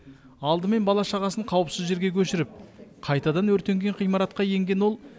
алдымен бала шағасын қауіпсіз жерге көшіріп қайтадан өртенген ғимаратқа енген ол